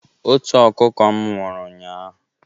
Otu ọkụkọ m nwụrụ ụnyaahụ.